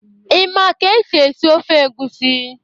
Ị ma ka esi esi ofe egusi?